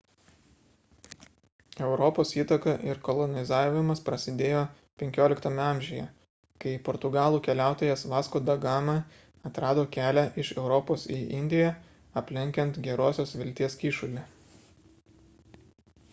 europos įtaka ir kolonizavimas prasidėjo xv amžiuje kai portugalų keliautojas vasco da gama atrado kelią iš europos į indiją aplenkiant gerosios vilties kyšulį